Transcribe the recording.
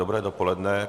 Dobré dopoledne.